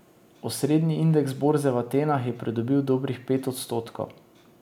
Osrednji indeks borze v Atenah je pridobil dobrih pet odstotkov.